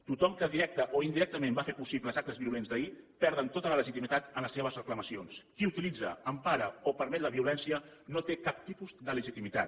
tothom que directament o indirectament va fer possible els actes violents d’ahir perd tota la legitimitat en les seves reclamacions qui utilitza empara o permet la violència no té cap tipus de legitimitat